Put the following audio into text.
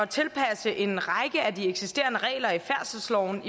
tilpasse en række af de eksisterende regler i færdselsloven